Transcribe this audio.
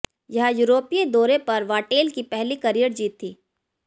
यह यूरोपीय दौरे पर वाटेल की पहली करियर जीत थी